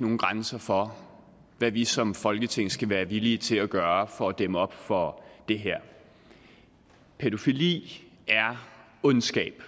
nogen grænser for hvad vi som folketing skal være villige til at gøre for at dæmme op for det her pædofili er ondskab